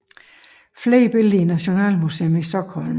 Flere billeder i Nationalmuseum i Stockholm